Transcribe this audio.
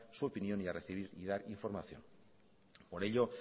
su opinión y a recibir y dar información por ello